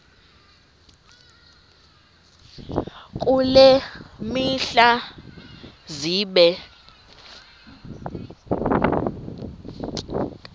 kule mihla zibe